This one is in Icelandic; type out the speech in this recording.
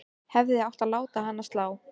Hefði átt að láta hana slá.